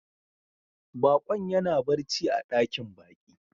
Bakon ya na barci a dakin baki.